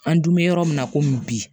An dun bɛ yɔrɔ min na komi bi